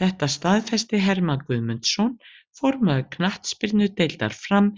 Þetta staðfesti Hermann Guðmundsson, formaður knattspyrnudeildar Fram,